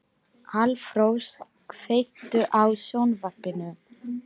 Álfrós, kveiktu á sjónvarpinu.